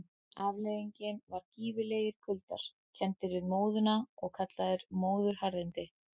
Afleiðingin var gífurlegir kuldar, kenndir við móðuna og kallaðir móðuharðindi.